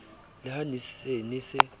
le ha se ne se